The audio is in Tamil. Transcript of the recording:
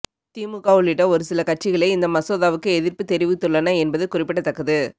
திமுக உள்ளிட்ட ஒருசில கட்சிகளே இந்த மசோதாவுக்கு எதிர்ப்பு தெரிவித்துள்ளன என்பது குறிப்பிடத்தக்கது